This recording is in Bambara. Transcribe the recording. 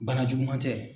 Bana juguman tɛ